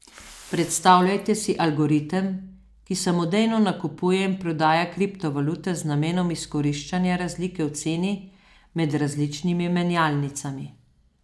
Predstavljajte si algoritem, ki samodejno nakupuje in prodaja kriptovalute z namenom izkoriščanja razlike v ceni med različnimi menjalnicami.